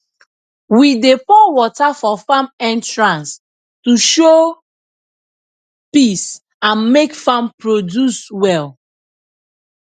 we dey pour water for farm entrance to show peace and make farm produce well